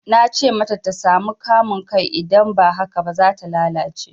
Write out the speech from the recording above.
Na ce mata ta sami kamun kai idan ba haka ba, za ta lalace.